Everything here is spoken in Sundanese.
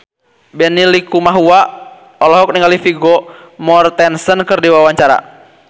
Benny Likumahua olohok ningali Vigo Mortensen keur diwawancara